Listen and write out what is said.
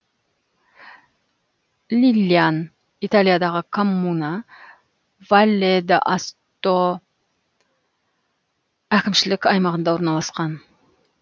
лилльян италиядағы коммуна валле д асто әкімшілік аймағында орналасқан